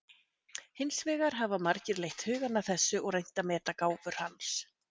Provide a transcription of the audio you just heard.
Hins vegar hafa margir leitt hugann að þessu og reynt að meta gáfur hans.